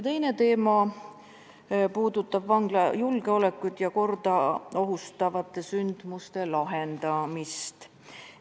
Teine teema puudutab vangla julgeolekut ja korda ohustavate sündmuste lahendamist.